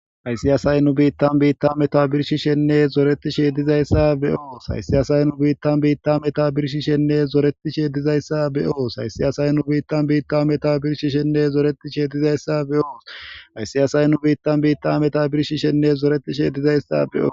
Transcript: Hayssi asay nu biitan meta birshshenne zoretisjeb dizaysa be'os. Hayssi asay nu biitan meta birshshenne zoretisjeb dizaysa be'os. Hayssi asay nu biitan meta birshshenne zoretisjeb dizaysa be'os. Hayssi asay nu biitan meta birshshenne zoretisjeb dizaysa be'os. Hayssi asay nu biitan meta birshshenne zoretisjeb dizaysa be'os. Hayssi asay nu biitan meta birshshenne zoretisjeb dizaysa be'os.